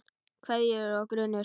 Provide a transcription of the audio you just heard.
Kveðjur og grunur